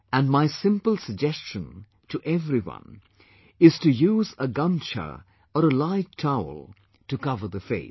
And my simple suggestion to every one is to use a Gumchha or a light towel to cover the face